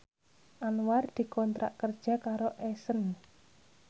Anwar dikontrak kerja karo Accent